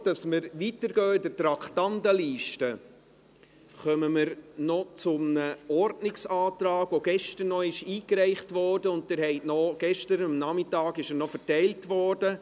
Bevor wir mit der Traktandenliste fortfahren, kommen wir zu einem Ordnungsantrag, der gestern eingereicht und Ihnen am Nachmittag ausgeteilt wurde.